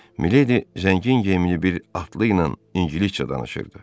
Milédi zəngin geyimli bir atlıyla ingiliscə danışırdı.